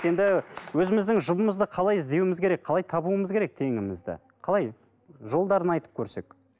енді өзіміздің жұбымызды қалай іздеуіміз керек қалай табуымыз керек теңімізді қалай жолдарын айтып көрсек